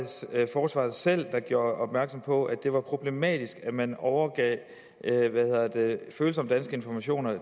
forsvaret selv der gjorde opmærksom på at det var problematisk at man overgav følsomme danske informationer